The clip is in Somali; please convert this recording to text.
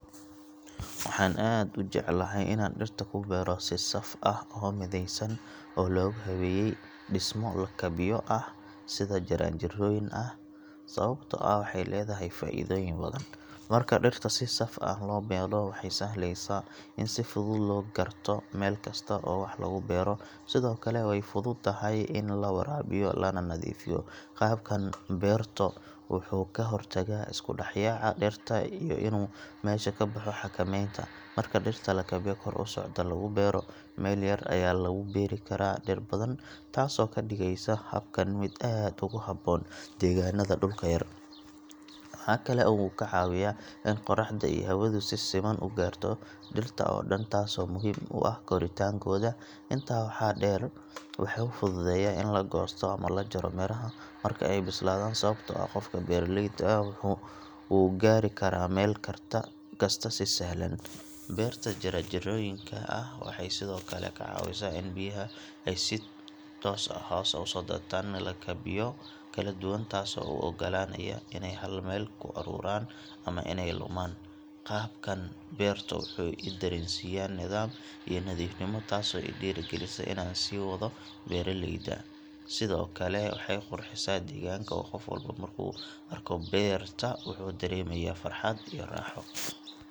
Waxaan aad u jeclahay inaan dhirta ku beero si saf ah oo midaysan oo lagu habeeyey dhismo lakabyo ah sida jaranjarooyin ah sababtoo ah waxay leedahay faa’iidooyin badan. Marka dhirta si saf ah loo beero waxay sahlaysaa in si fudud loo garto meel kasta oo wax lagu beero, sidoo kale way fududahay in la waraabiyo lana nadiifiyo. Qaabkan beerto wuxuu ka hortagaa isku dhex yaaca dhirta iyo inuu meesha ka baxo xakamaynta. Marka dhirta lakabyo kor u socda lagu beero, meel yar ayaa lagu beeri karaa dhir badan, taasoo ka dhigaysa habkan mid aad ugu habboon deegaanada dhulka yar. Waxa kale oo uu ka caawiyaa in qorraxda iyo hawadu si siman u gaarto dhirta oo dhan taasoo muhiim u ah koritaankooda. Intaas waxaa dheer, wuxuu fududeeyaa in la goosto ama la jaro miraha marka ay bislaadaan sababtoo ah qofka beeraleyda ah wuu gaari karaa meel kasta si sahlan. Beerta jaranjarooyinka ah waxay sidoo kale ka caawisaa in biyaha ay hoos u soo daataan lakabyo kala duwan taasoo aan u oggolaanayn inay hal meel ku ururaan ama inay lumaan. Qaabkan beerto wuxuu i dareensiyaa nidaam iyo nadiifnimo taasoo i dhiirrigelisa inaan sii wado beeraleyda. Sidoo kale, waxay qurxisaa deegaanka oo qof walba markuu arko beerta wuxuu dareemayaa farxad iyo raaxo.